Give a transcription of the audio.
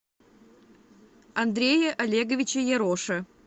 андрее олеговиче яроше